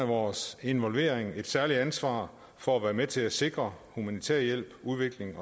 vores involvering har danmark et særligt ansvar for at være med til at sikre humanitær hjælp og udvikling